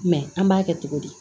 an b'a kɛ cogo di